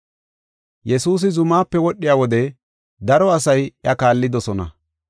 Yesuusi zumaape wodhiya wode daro asay iya kaallidosona.